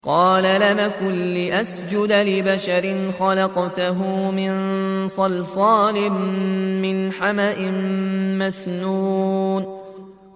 قَالَ لَمْ أَكُن لِّأَسْجُدَ لِبَشَرٍ خَلَقْتَهُ مِن صَلْصَالٍ مِّنْ حَمَإٍ مَّسْنُونٍ